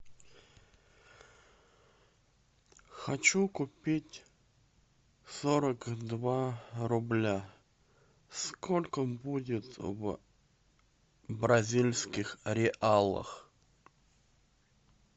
хочу купить сорок два рубля сколько будет в бразильских реалах